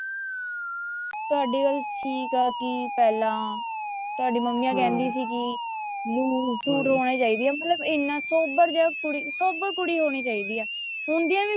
ਤੁਹਾਡੀ ਗੱਲ ਠੀਕ ਆ ਕੀ ਪਹਿਲਾਂ ਤੁਹਾਡੀ ਮੰਮੀ ਕਹਿੰਦੀ ਸੀ ਕੀ loose suit ਹੋਣੇ ਚਾਹੀਦੀ ਆ ਮਤਲਬ ਇੰਨਾ ਸੋਬਰ ਜਾ ਕੁੜੀ ਸੋਬਰ ਕੁੜੀ ਹੋਣੀ ਚਾਹੀਦੀ ਆ ਹੁੰਦੀਆਂ ਵੀ